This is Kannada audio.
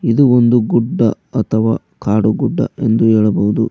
ಇದು ಒಂದು ಗುಡ್ಡ ಅಥವಾ ಕಾಡುಗುಡ್ಡ ಎಂದು ಹೇಳಬಹುದು.